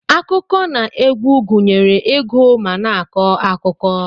Akụkọ na egwu gunyere igu ma na akọ akụkọ.